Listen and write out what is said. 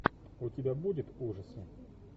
у тебя будет ужасы